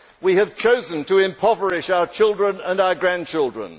We have chosen to impoverish our children and our grandchildren.